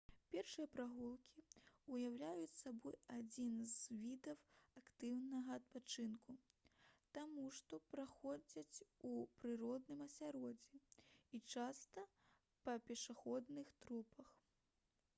пешыя прагулкі ўяўляюць сабой адзін з відаў актыўнага адпачынку таму што праходзяць у прыродным асяроддзі і часта па пешаходных тропах